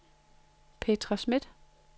Petra Smith